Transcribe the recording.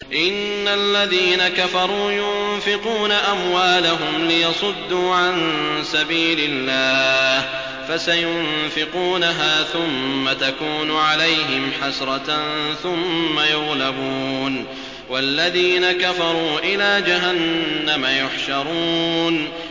إِنَّ الَّذِينَ كَفَرُوا يُنفِقُونَ أَمْوَالَهُمْ لِيَصُدُّوا عَن سَبِيلِ اللَّهِ ۚ فَسَيُنفِقُونَهَا ثُمَّ تَكُونُ عَلَيْهِمْ حَسْرَةً ثُمَّ يُغْلَبُونَ ۗ وَالَّذِينَ كَفَرُوا إِلَىٰ جَهَنَّمَ يُحْشَرُونَ